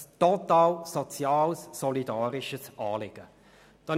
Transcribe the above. Das ist ein total soziales, solidarisches Anliegen.